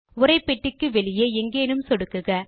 உரைப்பெட்டிக்கு வெளியே எங்கேனும் சொடுக்குக